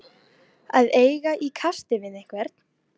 Að eiga í kasti við einhvern